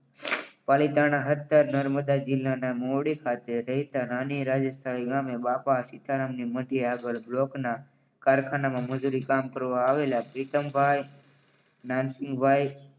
પાલીતાણા હદ નર્મદા જિલ્લાના મૂડી ખાતે રહેતા નાની રાજસ્થળી ગામે બાપા સીતારામની મઢી આગળ બ્લોકના કારખાનામાં મજૂરી કામ કરવા આવેલા પ્રિતમભાઈ નાનજીભાઈ